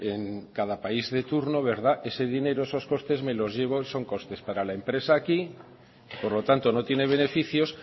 en cada país de turno verdad ese dinero esos costes me los llevo son costes para la empresa aquí por lo tanto no tiene beneficios